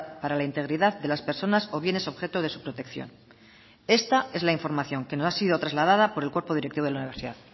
para la integridad de las personas o bienes es objeto de su protección esta es la información que nos ha sido traslada por el cuerpo directivo de la universidad